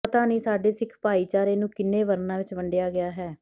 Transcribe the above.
ਪਤਾ ਨਹੀਂ ਸਾਡੇ ਸਿੱਖ ਭਾਈਚਾਰੇ ਨੂੰ ਕਿੰਨੇ ਵਰਨਾ ਵਿੱਚ ਵੰਡਿਆ ਗਿਆ ਹੈ